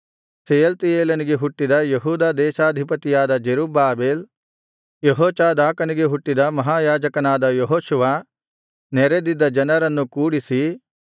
ಶೆಯಲ್ತೀಯೇಲನಿಗೆ ಹುಟ್ಟಿದ ಯೆಹೂದ ದೇಶಾಧಿಪತಿಯಾದ ಜೆರುಬ್ಬಾಬೆಲ್ ಯೆಹೋಚಾದಾಕನಿಗೆ ಹುಟ್ಟಿದ ಮಹಾಯಾಜಕನಾದ ಯೆಹೋಶುವ ನೆರೆದಿದ್ದ ಜನರನ್ನು ಕೂಡಿಸಿ